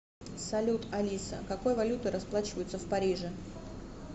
салют алиса какой валютой расплачиваются в париже